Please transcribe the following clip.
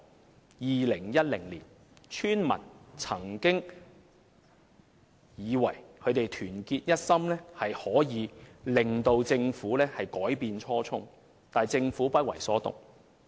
在2010年，村民曾以為只要他們團結一心，便可令政府改變初衷，但政府卻不為所動。